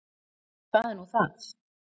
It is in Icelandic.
Það er nú það.